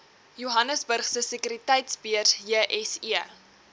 johannesburgse sekuriteitebeurs jse